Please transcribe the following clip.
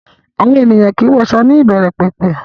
Àwọn ènìyàn kìí wọṣọ ní ìbẹ̀rẹ̀pẹ̀pẹ̀